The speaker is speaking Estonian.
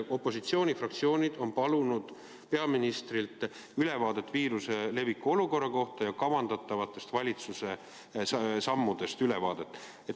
Opositsioonifraktsioonid on palunud peaministrilt ülevaadet viiruse leviku olukorra kohta ja kavandatavate valitsuse sammude kohta.